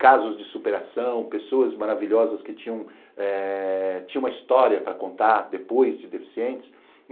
casos de superação, pessoas maravilhosas que tinham eh tinham uma história para contar depois de deficientes.